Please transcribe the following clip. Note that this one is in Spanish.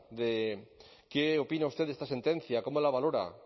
de qué opina usted de esta sentencia cómo la valora